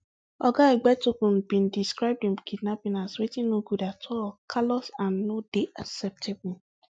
oga egbetokun bin describe di kidnapping as wetin no good at all callous and no dey acceptable